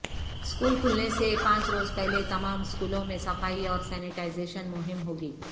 school کھلنے سے پانچ روز پہلے تمام اسکولوں میں صفائی اور سنٹائز یشن مہم ہوگی